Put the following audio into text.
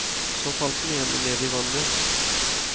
Så falt den ene ned i vannet.